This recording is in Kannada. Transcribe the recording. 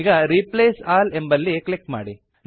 ಈಗ ರಿಪ್ಲೇಸ್ ಆಲ್ ಎಂಬಲ್ಲಿ ಕ್ಲಿಕ್ ಮಾಡಿ